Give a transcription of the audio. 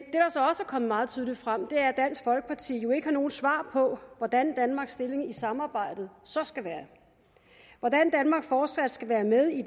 kommet meget tydeligt frem er at dansk folkeparti jo ikke har nogen svar på hvordan danmarks stilling i samarbejdet så skal være hvordan danmark fortsat skal være med i